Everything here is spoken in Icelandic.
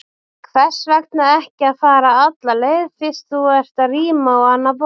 Hvers vegna ekki að fara alla leið, fyrst þú ert að ríma á annað borð?